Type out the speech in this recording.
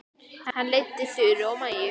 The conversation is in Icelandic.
Hann leiddi Þuru og Maju.